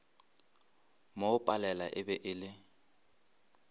mo palela e be e